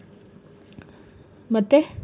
ಮತ್ತೆ?